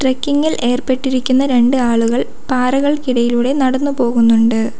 Trekking ഇൽ ഏർപ്പെട്ടിരിക്കുന്ന രണ്ട് ആളുകൾ പാറകൾക്കിടയിലൂടെ നടന്നുപോകുന്നുണ്ട്.